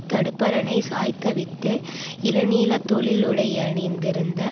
தடுப்பரணை சாய்த்தவிட்டு இளநீல தொழிலுடையணிந்திருந்த